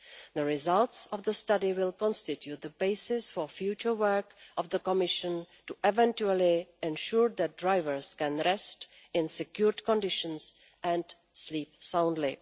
The results of the study will constitute the basis for future work of the Commission to eventually ensure that drivers can rest in secure conditions and sleep soundly.